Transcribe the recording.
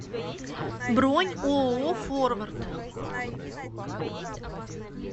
бронь ооо форвард